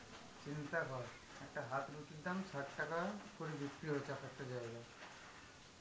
চিন্তা কর, একটা হাত রুটির দাম ষাট টাকা করে বিক্রি হচ্ছে এক একটা জায়গায়.